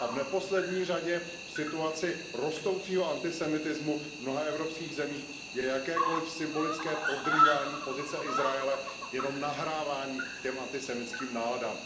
V neposlední řadě v situaci rostoucího antisemitismu v mnoha evropských zemích je jakékoliv symbolické podrývání pozice Izraele jenom nahrávání těm antisemitským náladám.